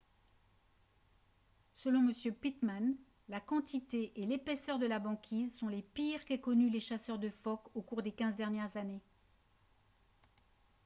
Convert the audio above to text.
selon m pittman la quantité et l'épaisseur de la banquise sont les pires qu'aient connues les chasseurs de phoques au cours des 15 dernières années